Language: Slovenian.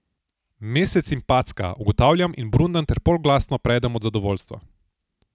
Mesec in packa, ugotavljam in brundam ter polglasno predem od zadovoljstva.